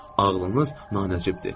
Ağlınız nanocibdir.